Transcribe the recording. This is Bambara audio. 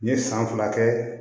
N ye san fila kɛ